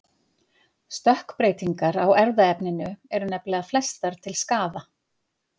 Stökkbreytingar á erfðaefninu eru nefnilega flestar til skaða.